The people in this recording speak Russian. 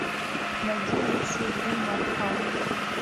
найди лучшие фильмы артхаус